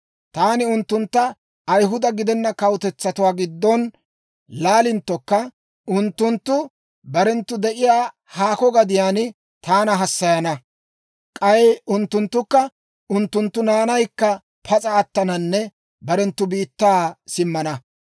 Taani unttuntta Ayihuda gidenna kawutetsatuwaa giddon laalinttokka, unttunttu barenttu de'iyaa haako gadiyaan taana hassayana; k'ay unttunttukka unttunttu naanaykka pas'a attananne barenttu biittaa simmana.